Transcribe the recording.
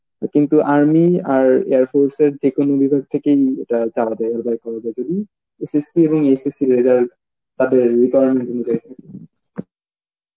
কিন্তু army, আর air force এর যে কোনো বিভাগ থেকেই এটা , SSC এবং SSC র result তাদের requirement অনুজাই